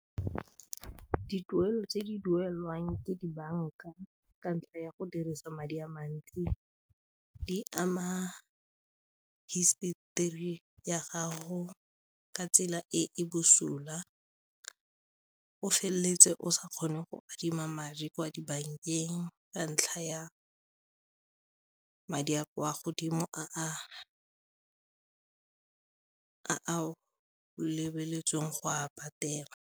Dituelo tse di duelwang ke dibanka ka ntlha ya go dirisa madi a mantsi di ama history ya gago ka tsela e e bosula, o feleletse o sa kgone go adima madi kwa dibankeng ka ntlha ya madi a kwa godimo a lebeletsweng go a patela.